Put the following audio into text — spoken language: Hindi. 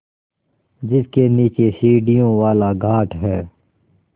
जिसके नीचे सीढ़ियों वाला घाट है